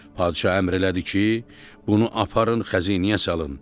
Padşah əmr elədi ki, bunu aparın xəzinəyə salın.